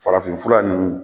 Farafinfura ninnu